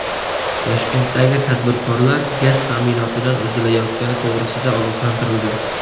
Toshkentdagi tadbirkorlar gaz ta’minotidan uzilayotgani to‘g‘risida ogohlantirildi.